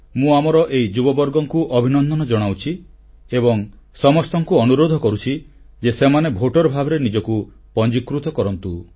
ମୁଁ ଆମର ଏହି ଯୁବବର୍ଗଙ୍କୁ ଅଭିନନ୍ଦନ ଜଣାଉଛି ଏବଂ ସମସ୍ତଙ୍କୁ ଅନୁରୋଧ କରୁଛି ଯେ ସେମାନେ ଭୋଟର ଭାବରେ ନିଜକୁ ପଞ୍ଜୀକୃତ କରନ୍ତୁ